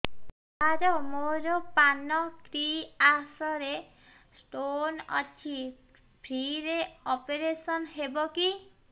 ସାର ମୋର ପାନକ୍ରିଆସ ରେ ସ୍ଟୋନ ଅଛି ଫ୍ରି ରେ ଅପେରସନ ହେବ କି